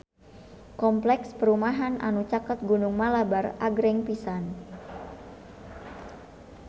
Kompleks perumahan anu caket Gunung Malabar agreng pisan